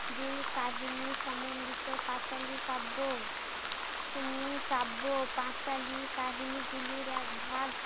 দুই কাহিনী সমন্ডিত পাঁচালী কাব্য, উম কাব্য কাহিনী গুলির এক ভাগ।